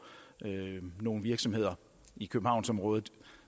nogle virksomheder i københavnsområdet